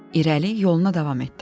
İrəli yoluna davam etdi.